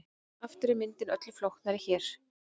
Aftur er myndin öllu flóknari hér.